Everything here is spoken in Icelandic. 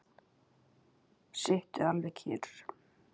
Sittu alveg kyrr.